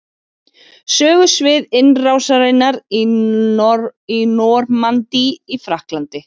Sögusvið innrásarinnar í Normandí í Frakklandi.